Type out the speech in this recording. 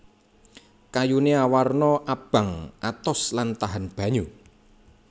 Kayuné awarna abang atos lan tahan banyu